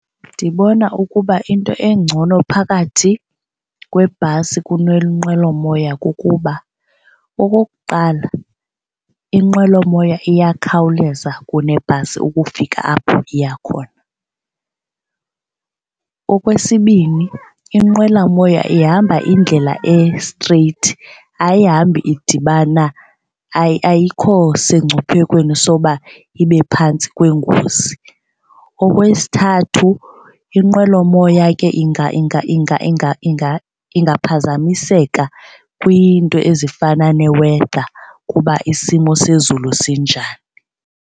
Ndibona ukuba into engcono phakathi kwebhasi kunenqwelomoya kukuba okokuqala inqwelomoya iyakhawuleza kunebhasi ukufika apho iya khona. Okwesibini, inqwelomoya ihamba indlela e-straight ayihambi idibana ayikho sengcuphekweni soba ibe phantsi kweengozi. Okwesithathu, inqwelomoya ke ingaphazamiseka kwiinto ezifana ne-weather kuba isimo sezulu sinjani.